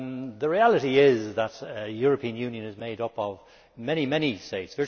The reality is that the European Union is made up of many states.